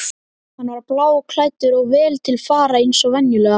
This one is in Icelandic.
Hann var bláklæddur og vel til fara eins og venjulega.